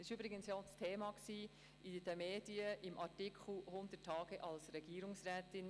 Das war übrigens auch Thema in den Medien, im Artikel «100 Tage als Regierungsrätin».